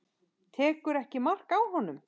Tekur ekki mark á honum.